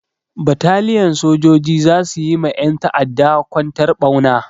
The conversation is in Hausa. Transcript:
Bataliyan sojoji za su yi ma ƴan ta'adda kwantar ɓauna.